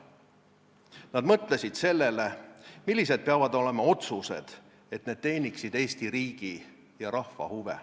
Nad mõtlesid sellele, millised peavad olema otsused, et need teeniksid Eesti riigi ja rahva huve.